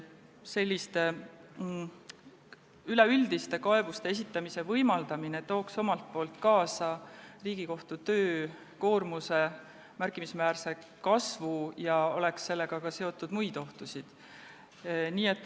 Selliste üleüldiste kaebuste esitamise võimaldamine tooks kaasa Riigikohtu töökoormuse märkimisväärse kasvu ja sellega oleks seotud ka muid ohtusid.